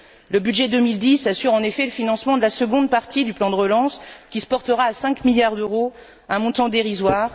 Le budget 2010 assure, en effet, le financement de la seconde partie du plan de relance, qui se portera à 5 milliards d'euros, un montant dérisoire.